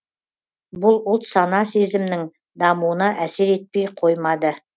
бұл ұлт сана сезімнің дамуына әсер етпей қоймады